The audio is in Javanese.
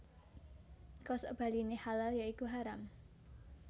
Kosokbaliné halal ya iku haram